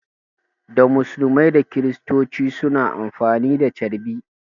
Da musulmai da kristoci suna amfani da carbi